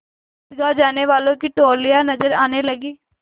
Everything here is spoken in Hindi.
ईदगाह जाने वालों की टोलियाँ नजर आने लगीं